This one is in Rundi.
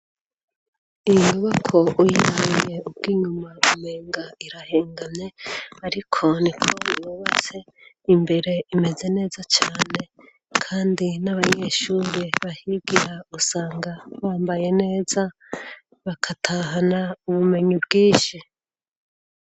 inyubako uyamye ubw'inyuma umenga irahengane ariko niko bibubase imbere imeze neza cyane kandi n'abayeshure bahibwira usanga bambaye neza bakatahana ubumenyi bwinshi